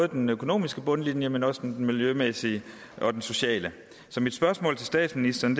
den økonomiske bundlinje men også på den miljømæssige og den sociale så mit spørgsmål til statsministeren